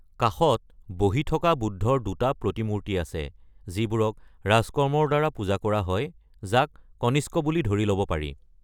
কাষত বহি থকা বুদ্ধৰ দুটা প্ৰতিমূৰ্তি আছে, যিবোৰক ৰাজকৰ্মৰ দ্বাৰা পূজা কৰা হয়, যাক কনিষ্ক বুলি ধৰি ল’ব পাৰি।